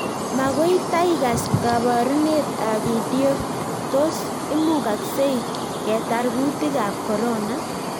Makoi taikas kabaruneet ap pidio ,tos imugagzei ketar kutik ap corona?